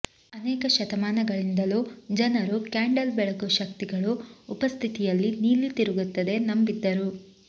ಅನೇಕ ಶತಮಾನಗಳಿಂದಲೂ ಜನರು ಕ್ಯಾಂಡಲ್ ಬೆಳಕು ಶಕ್ತಿಗಳು ಉಪಸ್ಥಿತಿಯಲ್ಲಿ ನೀಲಿ ತಿರುಗುತ್ತದೆ ನಂಬಿದ್ದರು